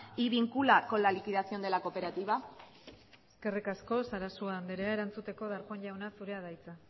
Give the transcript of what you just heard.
y vincula con la liquidación de la cooperativa eskerrik asko sarasua andrea erantzuteko darpón jauna zurea da hitza